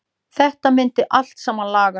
Þetta myndi allt saman lagast.